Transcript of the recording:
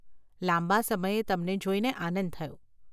લાંબા સમયે તમને જોઈને આનંદ થયો.